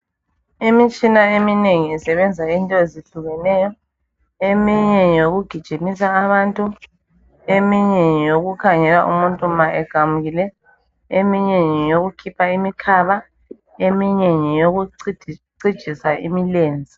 Imitshina eminengi isebenza into ezihlukeneyo eminye ngeyokugijimisa abantu eminye ngeyokukhangela umuntu ma equmukile eminye ngeyokukhipha imikhaba eminye ngeyokucijisa imilenze.